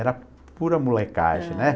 Era pura molecagem, né?